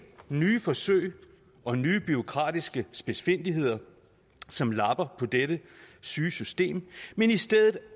nye forsøg og nye bureaukratiske spidsfindigheder som lapper på dette syge system men i stedet